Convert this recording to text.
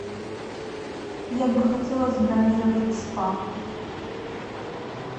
я бы хотела забронировать спа